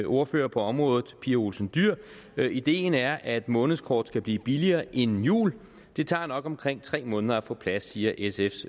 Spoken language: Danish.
ordfører på området pia olsen dyhr ideen er at månedskort skal blive billigere inden jul det tager nok omkring tre måneder at få på plads siger sfs